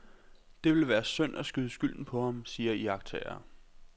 Det vil være synd at skyde skylden på ham, siger iagttagere.